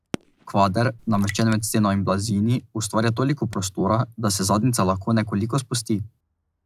Kvader, nameščen med steno in blazini, ustvarja toliko prostora, da se zadnjica lahko nekoliko spusti.